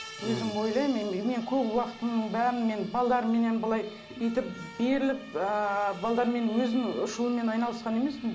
өзім ойлаймын мен көп уақытымның бәрін мен былай бүйтіп беріліп ыыы өзім үш ұлыммен айналысқан емеспін